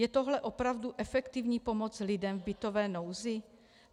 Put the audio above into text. Je tohle opravdu efektivní pomoc lidem v bytové nouzi?